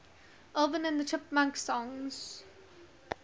alvin and the chipmunks songs